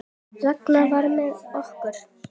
Ragnar var með okkur.